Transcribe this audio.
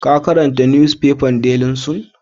Ka karanta nusfefan Daily sun?